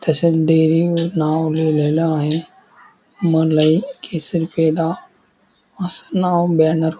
तसेच डेरी वर नाव लिहिलेलं आहे मलाई केसर पेढा अस नाव ब्यनरव --